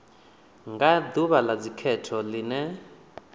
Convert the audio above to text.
nga ḓuvha ḽa dzikhetho ḽine